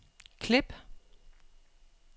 klip